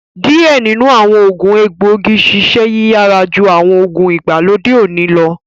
Diẹ ninu awọn oogun egboigi ṣiṣẹ yiyara ju awọn oogun igbalode oni lọ